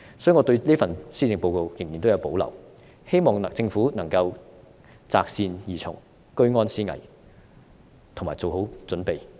所以，我對這份施政報告仍然有保留，希望政府能夠擇善而從，居安思危，以及做好準備。